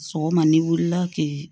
Sɔgɔma n'i wulila k'i